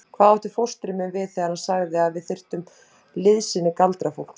Hvað átti fóstri minn við þegar hann sagði að við þyrftum liðsinni galdrafólks?